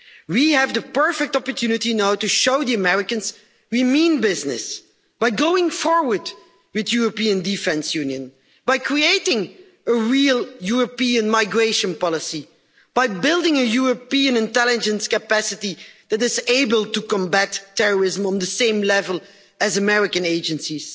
We have the perfect opportunity now to show the Americans we mean business by going forward with the European Defence Union, by creating a real European migration policy, by building a European intelligence capacity that is able to combat terrorism on the same level as American agencies.